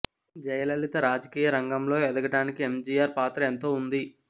జయలలిత రాజకీయ రంగంలో ఎదగడానికి ఎమ్ జి ఆర్ పాత్ర ఎంతో ఉంది